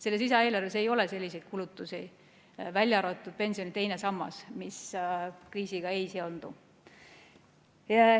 Selles lisaeelarves ei ole selliseid kulutusi, välja arvatud pensioni teine sammas, mis kriisiga ei seondu.